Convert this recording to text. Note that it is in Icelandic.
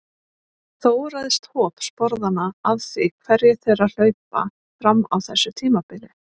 Þó ræðst hop sporðanna af því hverjir þeirra hlaupa fram á þessu tímabili.